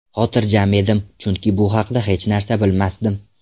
Xotirjam edim, chunki bu haqida hech narsa bilmasdim.